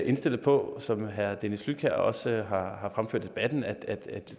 indstillet på som herre dennis flydtkjær også har har fremført i debatten at